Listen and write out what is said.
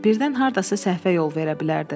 Birdən hardasa səhvə yol verə bilərdi.